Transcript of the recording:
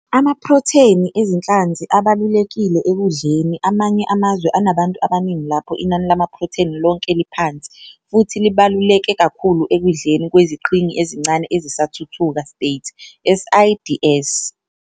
Amaprotheni ezinhlanzi abalulekile ekudleni kwamanye amazwe anabantu abaningi lapho inani lamaprotheni lonke liphansi, futhi libaluleke kakhulu ekudleni kweziqhingi ezincane ezisathuthuka States, SIDS.